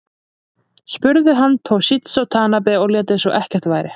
Spruði hann Toshizo Tanabe og lét eins og ekkert væri.